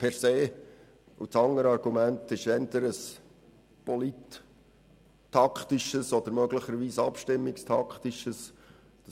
Das andere ist eher ein polittaktisches oder möglicherweise abstimmungstaktisches Argument.